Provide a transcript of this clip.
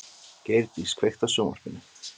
Geirdís, kveiktu á sjónvarpinu.